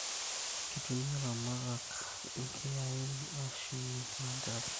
Kitumia ilaramatak inkiyain ashumie lanterera